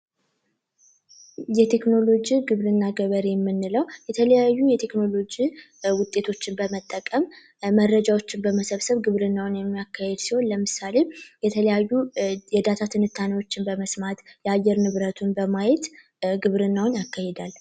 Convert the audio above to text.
የቴክኖሎጂ ግብርና ገበሬ የምንለው የተለያዩ የቴክኖሎጂ ውጤቶችን በመጠቀም መረጃዎችን በመሰብሰብ ግብርናውን የሚያካሂድ ሲሆን ለምሳሌ የዳታ መረጃ በመስማት የአየር ንብረቱን በማየት ግብርናውን ያካሂዳል።